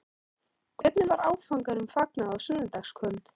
Hvernig var áfanganum fagnað á sunnudagskvöld?